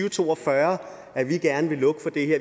og to og fyrre at vi gerne vil lukke for det